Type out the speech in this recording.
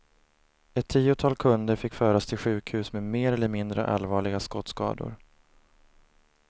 Ett tiotal kunder fick föras till sjukhus med mer eller mindre allvarliga skottskador.